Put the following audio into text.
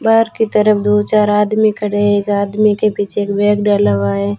बाहर की तरफ दो चार आदमी खड़े हैं एक आदमी के पीछे एक बैग डला हुआ है।